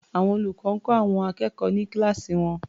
Àwọn olùkọ́ ń kọ́ àwọn akẹ́kọ̀ọ́ ní kíláàsì wọn.